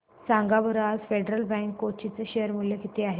सांगा बरं आज फेडरल बँक कोची चे शेअर चे मूल्य किती आहे